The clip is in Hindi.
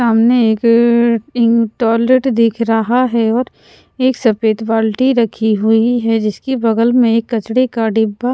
सामने एक अअअ इन टॉयलेट दिख रहा है और एक सफेद बाल्टी रखी हुई है जिसकी बगल में एक कचड़े का डिब्बा --